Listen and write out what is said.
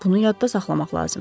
Bunu yadda saxlamaq lazımdır.